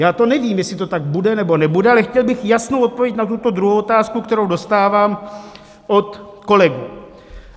Já to nevím, jestli to tak bude, nebo nebude, ale chtěl bych jasnou odpověď na tuto druhou otázku, kterou dostávám od kolegů.